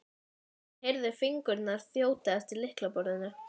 hún heyrði fingurna þjóta eftir lyklaborðinu.